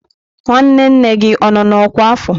Nwanne nne m gị ọ nọ n'ọkwá afọ?